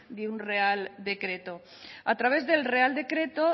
de un real decreto a través del real decreto